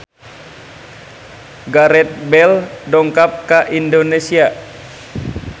Gareth Bale dongkap ka Indonesia